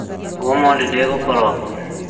mũthĩ ndĩgũkorwo kuo